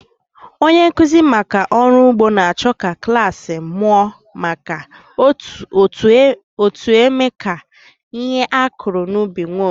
Onye nkụzi maka ọrụ ugbo na-achọ ka klas mụọ maka otu eme ka ihe a kụrụ n'ubi nwee ohere.